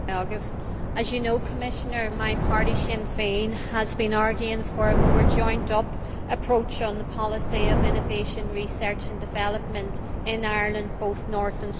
As you know, Commissioner, my party Sinn Féin has been arguing for a more joined up approach on the policy of innovation, research and development in Ireland, both North and South.